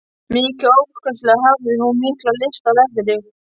Mikið óskaplega hafði hún mikla lyst á leðri.